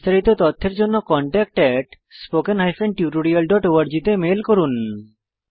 বিস্তারিত তথ্যের জন্য contactspoken tutorialorg তে মেল করুন